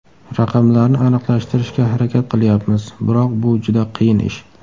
Raqamlarni aniqlashtirishga harakat qilyapmiz, biroq bu juda qiyin ish.